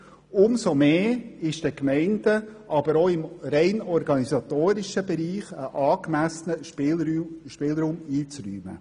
Umso mehr ist den Gemeinden auch im rein organisatorischen Bereich ein angemessener Spielraum einzuräumen.